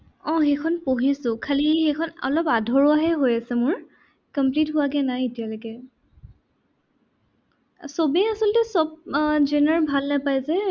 আহ সেইখন পঢ়িছো। খালী সেইখন অলপ আধৰুৱা হে হৈ আছে মোৰ। complete হোৱাগে নাই এতিয়ালৈকে সবেই আচলতে সৱ আহ zone ৰ ভাল নাপায় যে।